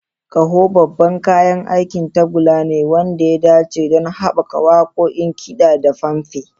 Ƙaho babban kayan aikin tagulla ne wanda ya dace don haɓaka waƙoƙin kiɗa da fanfare.